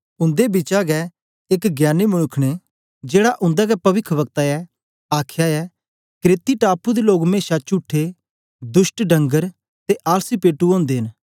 उंदे बिचा गै एक ज्ञानी मनुक्ख ने जेड़ा उंदा गै पविखवक्ता ऐ आखया ऐ क्रेती टापू दे लोग मेशा चुठे दुष्ट डणगर ते आलसी पेटू ओदे न